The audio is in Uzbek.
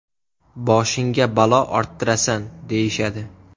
Boshingga balo orttirasan’, deyishadi.